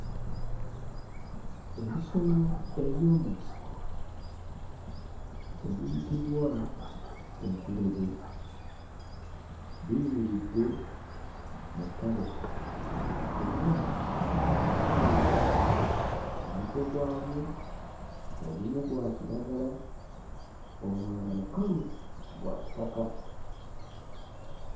Ebisolo eby'omu nsiko ebiyitibwa entulege biyimiridde mu ttale era mu kkala lino omuddo gwabyo ogumu gwa kiragala omulala mukalu gwa kitaka.